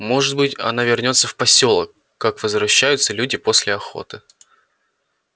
может быть она вернётся в посёлок как возвращаются люди после охоты